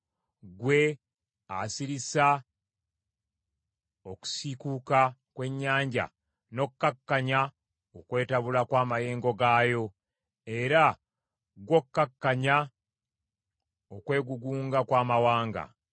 ggwe, asirisa okusiikuuka kw’ennyanja, n’okkakkanya okwetabula kw’amayengo gaayo, era ggw’okkakkanya okwegugunga kw’amawanga.